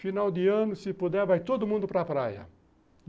Final de ano, se puder, vai todo mundo para praia.